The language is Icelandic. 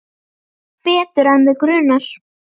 Betur en þig grunar.